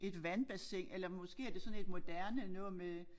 Et vandbassin eller måske er det sådan et moderne noget med